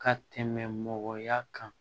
Ka tɛmɛ mɔgɔya kan